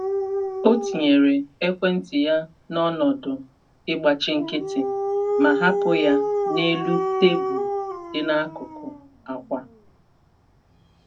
Ọ tinyere ekwentị ya n’ọnọdụ ịgbachi nkịtị ma hapụ ya n’elu tebụl dị n’akụkụ akwa.